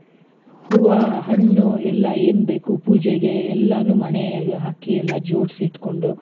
ಹೂವ ಹಣ್ಣು ಎಲ್ಲ ಏನ್ ಬೇಕು ಪೂಜೆಗೆ ಎಲ್ಲಾನು ಮಣೆ ಹಾಕಿ ಎಲ್ಲ ಜೋಡ್ಸಿಟ್ಕೊಂಡು,